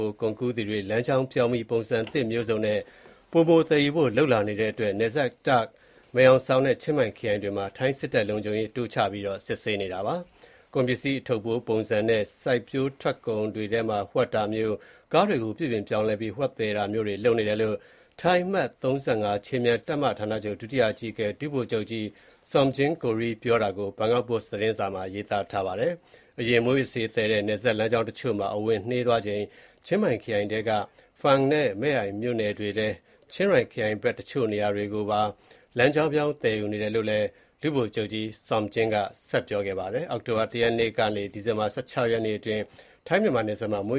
ိုကုန်ကူးသူတွေ လမ်းကြောင်းပြောင်းပြီး ပုံစံအမျိုးမျိုးနဲ့ သယ်ယူနေတဲ့အတွက် ထိုင်း မြန်မာနယ်စပ် Take နဲ့ Mae Hong Son ခရိုင်တွေမှာ ထိုင်းစစ်တပ်က လုံခြုံရေးတိုးချပြီး စစ်ဆေးနေပါတယ်။ ကုန်ပစ္စည်း အထုပ်အပိုးပုံစံ- စိုက်ပျိုးရေးထွက်ကုန်တွေထဲမှာ ဝှက်တာမျိုး၊ ကားတွေကို ပြုပြင်ပြောင်းလဲပြီး ဝှက်သယ်တာမျိုးတွေ လုပ်နေတဲအ့ကြောင်း ထိုင်း အမှတ် ၃၅ ခြေမြန်တပ်မ ဌာနချုပ် ဒုတိယအကြီးအကဲ ဒုဗိုလ်ချုပ်ကြီး Somjing Koree ပြောဆိုတာကို ဘန်ကောက်ပို့စ် သတင်းစာမှာ ရေးသားထားပါတယ်။ နယ်ခြားက ပုံမှန် မူးယစ်ဆေးသယ်တဲ့ လမ်းကြောင်းတွေကို ချင်းမိုင် Fang နဲ့ Mae Ai ခရိုင်တွေနဲ့ တခြား နေရာတွေကို လမ်းကြောင်းပြောင်းပြီး သယ်ယူနေတယ်လို့ ပြောပါတယ်။ အောက်တိုဘာလ ၁ ရက်နေ့ကနေ ဒီဇင်ဘာလ ၁၆ ရက်နေ့အတွင်း ထိုင်းမြန်မာ နယ်စပ်မှာ မ